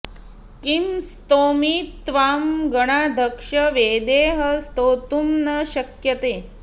किं स्तौमि त्वां गणाध्यक्ष वेदैः स्तोतुं न शक्यते